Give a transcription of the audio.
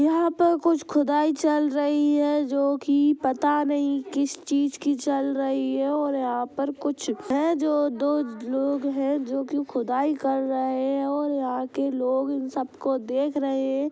यहाँ पर कुछ खुदाई चल रही है जोकी पता नहीं किस चीज की चल रही है और यहाँ पर कुछ है जो दो लोग है जो की खुदाई कर रहे है और यहाँ के लोग ये सब को देख रहे है ।